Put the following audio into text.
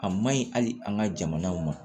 A ma ɲi hali an ka jamanaw ma